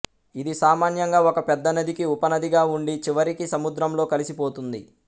ఇది సామాన్యంగా ఒక పెద్ద నదికి ఉపనదిగా ఉండి చివరికి సముద్రంలో కలిసిపోతుంది